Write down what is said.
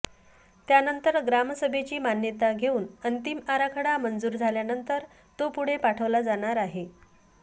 त्यानंतर ग्रामसभेची मान्यता घेऊन अंतिम आराखडा मंजूर झाल्यानंतर तो पुढे पाठवला जाणार आहे